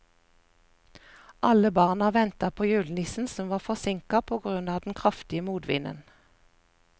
Alle barna ventet på julenissen, som var forsinket på grunn av den kraftige motvinden.